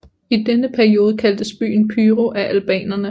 I denne periode kaldtes byen Pyro af albanerne